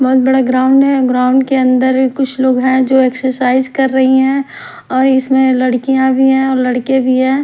बहुत बड़ा ग्राउंड है ग्राउंड के अंदर कुछ लोग हैं जो एक्सरसाइज कर रही हैं और इसमें लड़कियां भी हैं और लड़के भी है।